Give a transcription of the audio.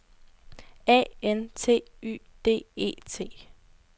A N T Y D E T